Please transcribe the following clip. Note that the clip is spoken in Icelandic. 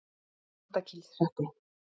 Andakílshreppi